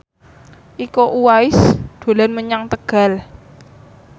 Iko Uwais dolan menyang Tegal